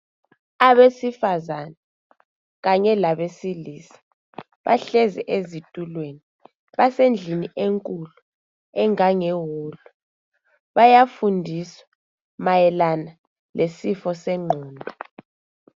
Abesifazane kanye labesilisa bahlezi ezitulweni. Basendlini enkulu engangewolu. Bayafundiswa mayelana lesifo sengqondo.